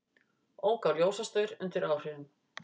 Ók á ljósastaur undir áhrifum